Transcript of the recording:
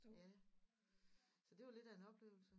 Ja så det var lidt af en oplevelse